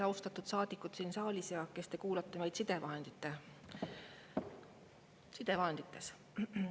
Austatud saadikud siin saalis ja kes te kuulate meid sidevahendite abil!